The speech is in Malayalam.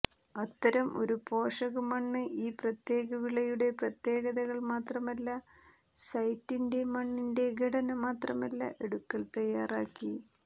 അത്തരം ഒരു പോഷക മണ്ണ് ഈ പ്രത്യേക വിളയുടെ പ്രത്യേകതകൾ മാത്രമല്ല സൈറ്റിന്റെ മണ്ണിന്റെ ഘടന മാത്രമല്ല എടുക്കൽ തയ്യാറാക്കി